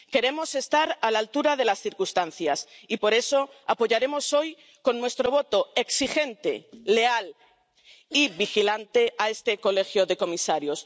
Queremos estar a la altura de las circunstancias y por eso apoyaremos hoy con nuestro voto exigente, leal y vigilante a este Colegio de comisarios.